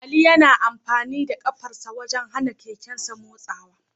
Ali yana amfani da kafarsa wajen hana keken nasa motsi